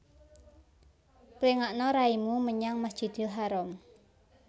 Pléngakna raimu menyang Masjidil Haram